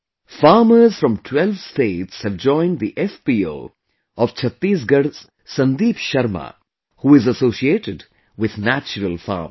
Farmers from 12 states have joined the FPO of Chhattisgarh's Sandeep Sharma, who is associated with natural farming